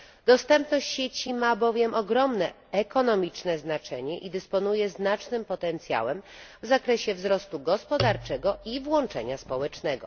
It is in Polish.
Dostępność sieci ma bowiem ogromne ekonomiczne znaczenie i dysponuje znacznym potencjałem w zakresie wzrostu gospodarczego i włączenia społecznego.